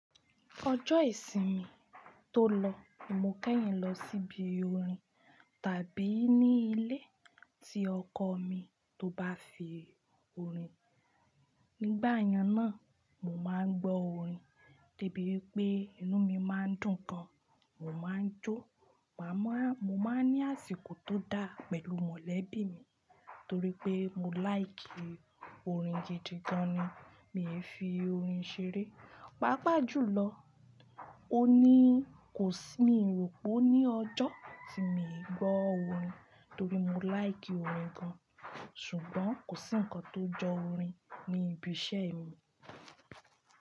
Ọjọ́ ìsinmi tó lọ ni mo kẹ́yìn lọ síbi orin tàbí ní ilé tí ọkọ mi tó bá fi orin. Nígbà yẹn náà, mo máa ń gbọ́ orin débi wipé inú mi máa ń dùn gan, mo máa ń jó. Ma máa, mo máa ń ní àsìkò tó dá pẹ̀lú mọ̀lẹ́bí mi torí pé mo láìkì orin gidi gan ni. Èmi e fi orin ṣeré. Páapá jù lọ, o ní kò sí mi n rò pe oní ọjọ́ tí mi e gbọ́ orin torí mo láìkì orin gan. Ṣùgbọ́n kò sí ǹkan tó jọ orin ní ibi iṣẹ́ mi.